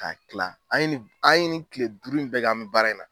Ka kila an ye nin an ye nin kile duuru in bɛ kɛ an bɛ baara in na.